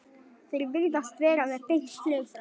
Þeir virðast vera með beint flug frá